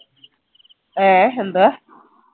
ഏഹ് എന്താ